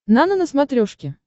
нано на смотрешке